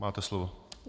Máte slovo.